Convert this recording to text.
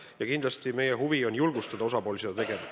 Ja kindlasti meie huvi on julgustada osapooli seda tegema.